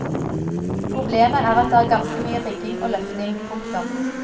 Problemet er at det er ganske mye rigging og løfting. punktum